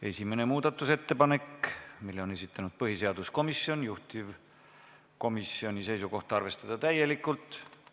Esimene muudatusettepanek, mille on esitanud põhiseaduskomisjon, juhtivkomisjoni seisukoht: arvestada täielikult.